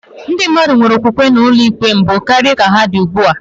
Ndị mmadụ nwere okwukwe na ụlọikpe mbụ karịa ka ha nwere ugbu a.